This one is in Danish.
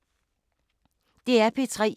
DR P3